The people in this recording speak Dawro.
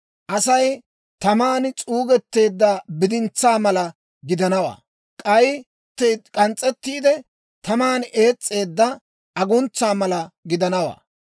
Asay taman s'uugetteedda bidintsaa mala gidanawaa; k'ay k'ans's'ettiide, taman ees's'eedda aguntsa mala gidanawaa.